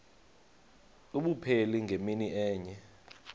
abupheli ngemini enye